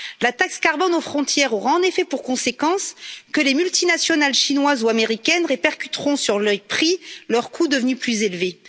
La taxe carbone aux frontières aura en effet pour conséquence que les multinationales chinoises ou américaines répercuteront, sur leurs prix, leurs coûts devenus plus élevés.